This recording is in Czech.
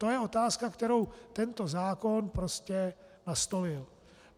To je otázka, kterou tento zákon prostě nastolil.